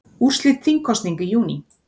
Úrslit þingkosninga í júní